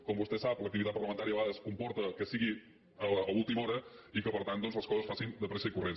com vostè sap l’activitat parlamentària a vegades comporta que sigui a última hora i que per tant les coses es facin de pressa i corrents